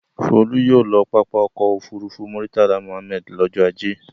Folú yóò lọ pápá ọkọ̀-òfurufú Murtala Muhammad lọ́jọ́ ajé.